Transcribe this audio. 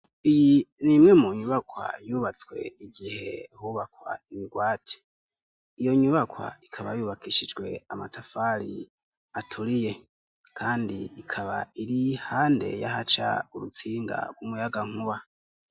Iyi ni imwe mu nyubakwa yubatswe igihe hubakwa imigwati. Iyo nyubakwa ikaba yubakishijwe amatafari aturiye kandi ikaba iri iruhande y'ahaca urutsinga rw'umuyagankuba.